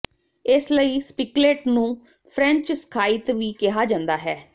ਇਸਲਈ ਸਪਿਕਲੇਟ ਨੂੰ French scythe ਵੀ ਕਿਹਾ ਜਾਂਦਾ ਹੈ